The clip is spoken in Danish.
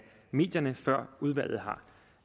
medierne før udvalget